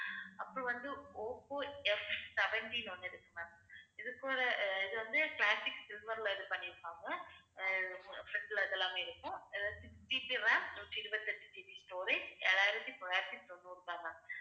அப்புறம் வந்து Oppo F seventeen ஒண்ணு இருக்கு ma'am இது போல ஆஹ் இது வந்து, classic silver ல இது பண்ணிருக்காங்க ஆஹ் fr~ front ல இது எல்லாம் இருக்கும். 6GB RAM நூற்றி இருபத்தி எட்டு GB storage ஏழாயிரத்தி தொள்ளாயிரத்தி தொண்ணூறு தான் ma'am